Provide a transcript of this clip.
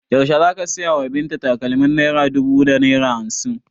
Yaushe za ka saya wa Binta takalmin naira dubu da naira hamsin?